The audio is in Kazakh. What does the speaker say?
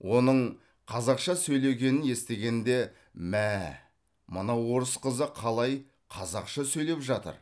оның қазақша сөйлегенін естігенде мә ә ә мына орыс қызы қалай қазақша сөйлеп жатыр